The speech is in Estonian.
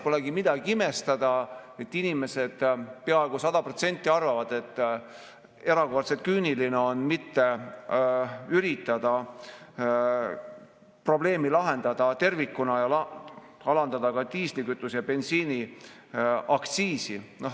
Polegi midagi imestada, et inimesed peaaegu sada protsenti arvavad, et erakordselt küüniline on mitte üritada probleemi lahendada tervikuna ja alandada ka diislikütuse ja bensiini aktsiisi.